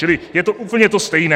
Čili je to úplně to stejné.